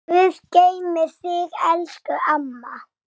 Guð geymi þig, elsku amma.